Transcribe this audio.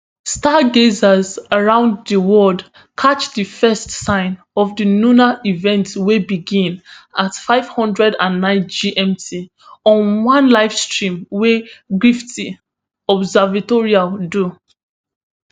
stargazers around di world catchdi first sign of di lunar eventwey begin at five hundred and nine gmt on one livestream wey la griffith observatory do